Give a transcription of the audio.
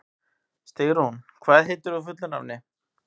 Stígrún, hvað heitir þú fullu nafni?